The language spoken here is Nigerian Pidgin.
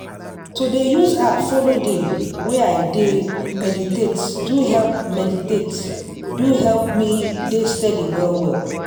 to dey use app follow dey way i dey meditate do help meditate do help me dey steady well well.